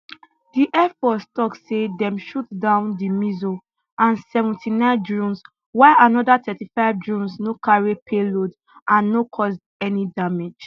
di air force tok say dem shoot down di missile and seventy nine drones while another thirty five drones no carry payload and no cause any damage